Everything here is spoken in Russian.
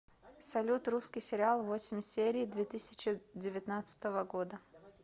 салют русский сериал восемь серий две тысячи девятнадцатого года